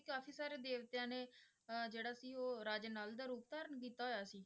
ਕਾਫ਼ੀ ਸਾਰੇ ਦੇਵਤਿਆਂ ਨੇ ਅਹ ਜਿਹੜਾ ਸੀ ਉਹ ਰਾਜੇ ਨਲ ਦਾ ਰੂਪ ਧਾਰਨ ਕੀਤਾ ਹੋਇਆ ਸੀ